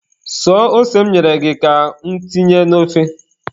Suo ose m nyere gị ka mụ tinye n'of!